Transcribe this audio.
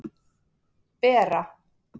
Bera